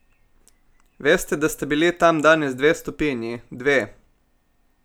Veste, da sta bili tam danes dve stopinji, dve!